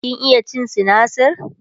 kin iya cin sinasir?